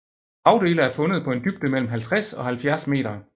Vragdele er fundet på en dybde mellem 50 og 70 meter